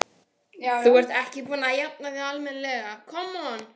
Þú ert ekki búin að jafna þig almennilega!